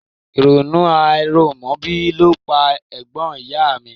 Ìrònú àìrọ́mọbí ló pa ẹ̀gbọ́n ìyá a mi